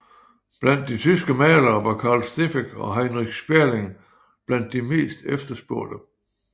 Blandt de tyske malere var Carl Steffeck og Heinrich Sperling blandt de mest efterspurgte